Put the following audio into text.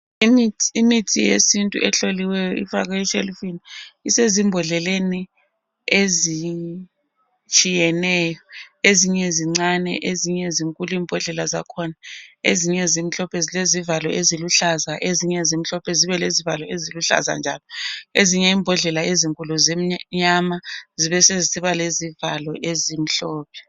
Imithi yesintu ehloliweyo ifakwe eshelufini. Isezimbodleleni ezitshiyeneyo. Ezinye zincane ezinye zinkulu imbodlela zakhona. Ezinye zimhlophe zilezivalo eziluhlaza. Ezinye zimhlophe zibe lezivalo eziluhlaza njalo. Ezinye imbodlela ezinkulu zimnyama zibe sezisiba lezivalo ezimhlophe.